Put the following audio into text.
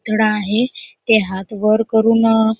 आहेते हात वर करून--